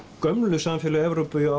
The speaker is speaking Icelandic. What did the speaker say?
gömlu samfélög Evrópu